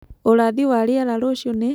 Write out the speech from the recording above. ũrathi wa rĩera rũcĩũ nĩ